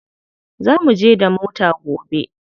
Za muje da mota gobe.